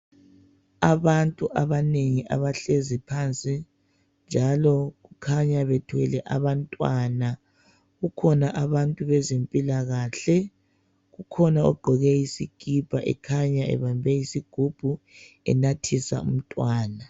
Abantu abanengi abahlezi phansi njalo bakhanya bethwele abantwana kukhona abantu bezempilakahle kukhona ogqoke isikipa ekhanya ebambe isigubhu enathisa umntwana.